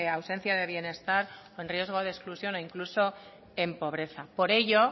ausencia de bienestar o en riesgo de exclusión e incluso en pobreza por ello